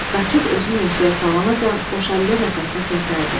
Qaçıb özünü meşəyə salanacan qoşa əllə nəfəsini kəsərdi.